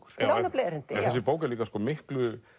á nefnilega erindi þessi bók er miklu